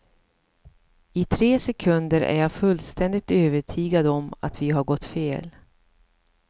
I tre sekunder är jag fullständigt övertygad om att vi har gått fel.